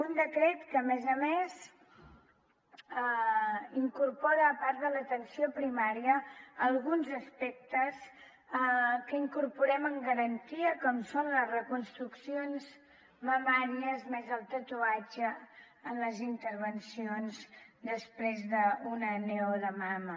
un decret que a més a més incorpora a part de l’atenció primària alguns aspectes que incorporem amb garantia com són les reconstruccions mamàries més el tatuatge en les intervencions després d’una neo de mama